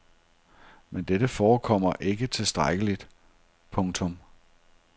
Men dette forekommer ikke tilstrækkeligt. punktum